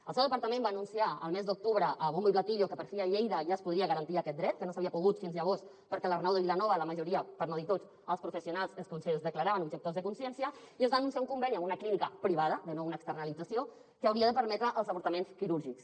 el seu departament va anunciar el mes d’octubre a bombo y platillo que per fi a lleida ja es podria garantir aquest dret que no s’havia pogut fins llavors perquè a l’arnau de vilanova la majoria per no dir tots els professionals es declaraven objectors de consciència i es va anunciar un conveni amb una clínica privada de nou una externalització que hauria de permetre els avortaments quirúrgics